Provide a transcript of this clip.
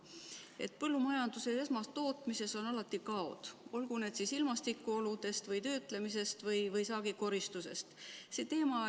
Ent põllumajanduses ja esmatootmises on alati kaod, tulgu need siis ilmastikuoludest või töötlemisest või saagikoristusest.